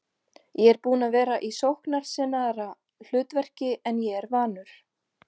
Ég er búinn að vera í sóknarsinnaðra hlutverki en ég er vanur.